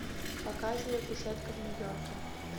показывай кушетка в нью йорке